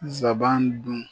Nsaban dun